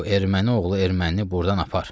Bu erməni oğlu ermənini burdan apar.